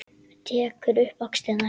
Tekur um axlir hennar.